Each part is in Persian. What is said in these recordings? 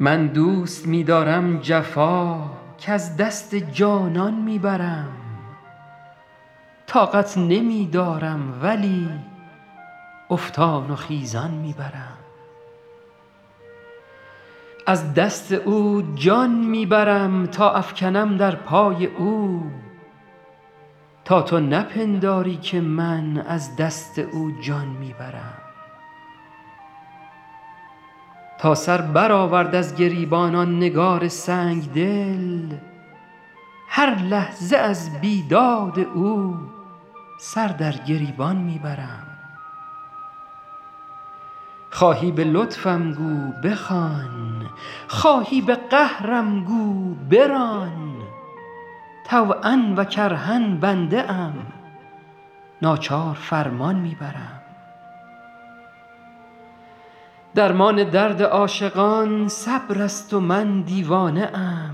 من دوست می دارم جفا کز دست جانان می برم طاقت نمی دارم ولی افتان و خیزان می برم از دست او جان می برم تا افکنم در پای او تا تو نپنداری که من از دست او جان می برم تا سر برآورد از گریبان آن نگار سنگ دل هر لحظه از بیداد او سر در گریبان می برم خواهی به لطفم گو بخوان خواهی به قهرم گو بران طوعا و کرها بنده ام ناچار فرمان می برم درمان درد عاشقان صبر است و من دیوانه ام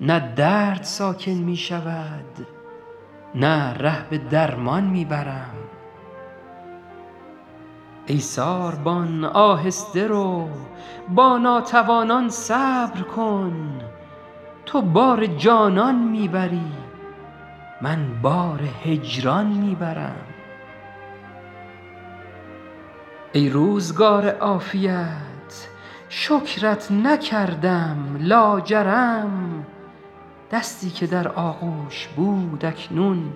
نه درد ساکن می شود نه ره به درمان می برم ای ساربان آهسته رو با ناتوانان صبر کن تو بار جانان می بری من بار هجران می برم ای روزگار عافیت شکرت نکردم لاجرم دستی که در آغوش بود اکنون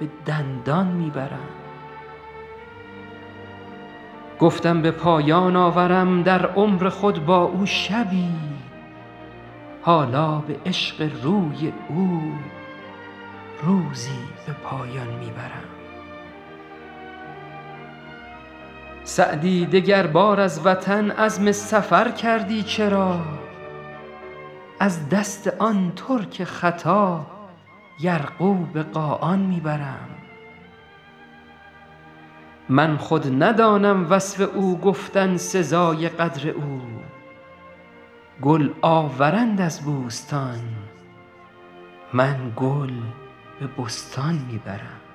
به دندان می برم گفتم به پایان آورم در عمر خود با او شبی حالا به عشق روی او روزی به پایان می برم سعدی دگربار از وطن عزم سفر کردی چرا از دست آن ترک خطا یرغو به قاآن می برم من خود ندانم وصف او گفتن سزای قدر او گل آورند از بوستان من گل به بستان می برم